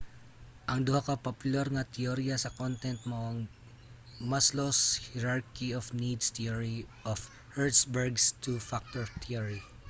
ang duha ka popular nga teyorya sa content mao ang maslow's hierarchy of needs theory ug hertzberg's two factor theory